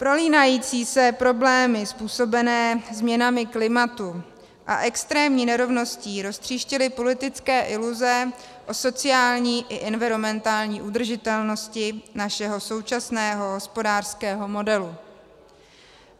Prolínající se problémy způsobené změnami klimatu a extrémní nerovností roztříštily politické iluze o sociální i environmentální udržitelnosti našeho současného hospodářského modelu.